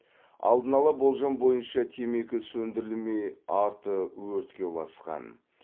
алдын ала болжам бойынша темекі сөндірілмей арты өртке ұласқан